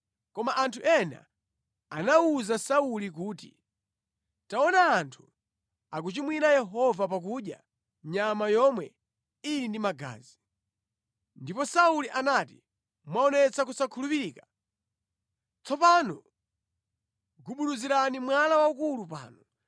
Koma anthu ena anawuza Sauli kuti, “Taona anthu akuchimwira Yehova pakudya nyama yomwe ili ndi magazi.” Ndipo Sauli anati, “Mwaonetsa kusakhulupirika. Tsopano gubuduzirani mwala waukulu pano.”